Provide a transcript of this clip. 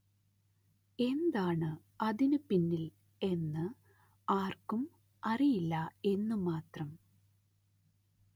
എന്താണ്‌ അതിനു പിന്നില്‍ എന്ന് ആര്‍ക്കും അറിയില്ല എന്നും മാത്രം